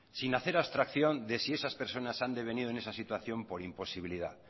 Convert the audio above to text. sin hacer abstracción de si esas personas han de venido en esa situación por imposibilidad